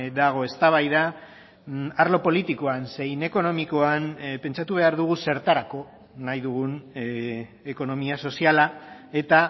dago eztabaida arlo politikoan zein ekonomikoan pentsatu behar dugu zertarako nahi dugun ekonomia soziala eta